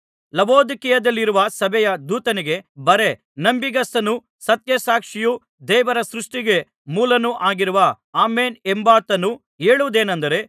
ಲವೊದಿಕೀಯದಲ್ಲಿರುವ ಸಭೆಯ ದೂತನಿಗೆ ಬರೆ ನಂಬಿಗಸ್ತನೂ ಸತ್ಯ ಸಾಕ್ಷಿಯೂ ದೇವರ ಸೃಷ್ಟಿಗೆ ಮೂಲನೂ ಆಗಿರುವ ಆಮೆನ್ ಎಂಬಾತನು ಹೇಳುವುದೇನಂದರೆ